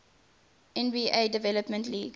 nba development league